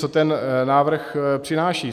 Co ten návrh přináší?